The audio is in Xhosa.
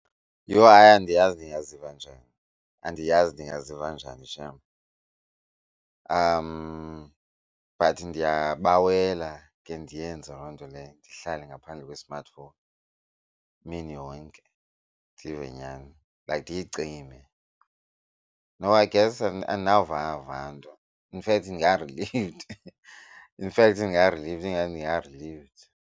Yho hayi andiyazi ndingaziva njani, andiyazi ndingaziva njani shame. But ndiyabawela ke ndiyenze loo nto leyo ndihlale ngaphandle kwe-smartphone imini yonke, ndive nyhani like ndiyicime. No, I guess andinova va nto. In fact ndinga-relieved, infact ndinga-relieved ingathi ndinga-relieved.